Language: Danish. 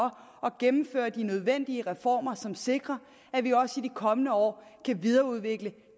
at gennemføre de nødvendige reformer som sikrer at vi også i de kommende år kan videreudvikle